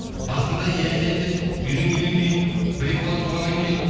басында иә иә деп үйленгеннен кейін бір екі бала туғаннан кейін